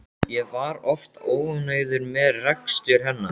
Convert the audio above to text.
Ég var oft óánægður með rekstur hennar.